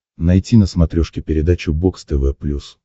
найти на смотрешке передачу бокс тв плюс